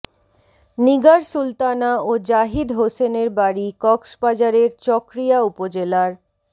নিগার সুলতানা ও জাহিদ হোসেনের বাড়ি কক্সবাজারের চকরিয়া উপজেলার